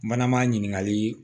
Mana maa ɲininkali